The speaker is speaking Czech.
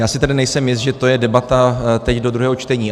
Já si tedy nejsem jist, že to je debata teď do druhého čtení.